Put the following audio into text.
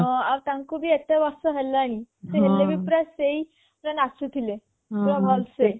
ହଁ ଆଉ ତାଙ୍କୁ ଭି ଏତେ ବର୍ଷ ହେଲାଣି ସେ ହେଲେ ଭି ପୁରା ସେଇ ପୁରା ନାଚୁଥିଲେ ପୁରା ଭଲ ସେ